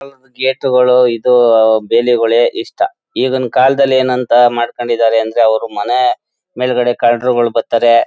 ಹ್ ಗೇಟ್ ಗಳು ಇದು ಬೇಲಿಗಳೇ ಇಷ್ಟ ಈಗಿನ ಕಾಲದಲ್ಲಿ ಏನಂತ ಮಾಡ್ಕೊಂಡಿದಾರೆ ಅಂದ್ರೆ ಅವರು ಮನೇ ಮೇಲ್ಗಡೆ ಕಳ್ಳರುಗಳು ಬರ್ತಾರೆ.